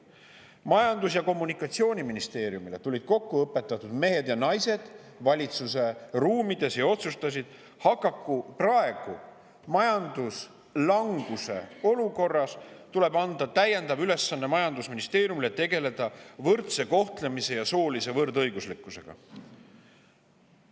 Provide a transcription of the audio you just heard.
Majandus‑ ja Kommunikatsiooniministeerium – valitsuse ruumides tulid kokku õpetatud mehed ja naised ning otsustasid, et praeguses majanduslanguse olukorras tuleb anda majandusministeeriumile täiendav ülesanne tegeleda võrdse kohtlemise ja soolise võrdõiguslikkusega.